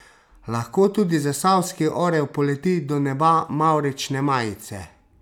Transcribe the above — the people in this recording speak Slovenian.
Lahko tudi zasavski orel poleti do neba mavrične majice?